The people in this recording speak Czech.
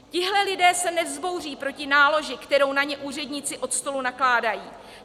Tihle lidé se nevzbouří proti náloži, kterou na ně úředníci od stolu nakládají.